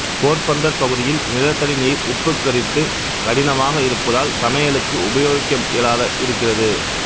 போர்பந்தர் பகுதியில் நிலத்தடி நீர் உப்புகரித்து கடினமாக இருப்பதால் சமையலுக்கு உபயோகிக்க இயலாததாக இருக்கிறது